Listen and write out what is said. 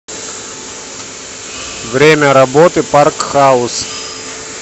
время работы парк хаус